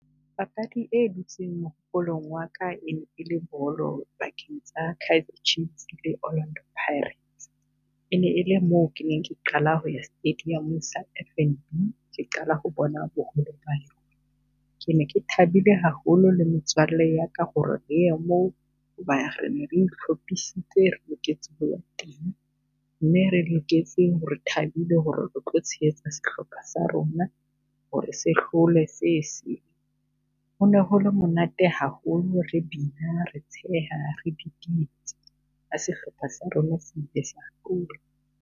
Papadi e dutseng mehopolong wa ka e e le bolo pakeng tsa Kaizer Chiefs le Orlando Pirates. E ne e le mo ke neng ke qala ho ya stadium-ong sa F_N_B ke qala ho bona boholo ba yona. Ke ne ke thabile haholo le metswalle ya ka ho re re ye moo, ho ba re ne re itlhopisitse re loketse ho ya teng. Mme re loketse ho re re thabile ho re re o tlo tshehetsa sehlopha sa rona, ho re se hlole se . Ho ne ho le monate haholo re bina, re tsheha, re didietsa ha sehlopha sa rona se ile sa hlola.